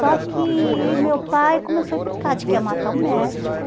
Só que e meu pai começou a implicar, de que ia matar o médico.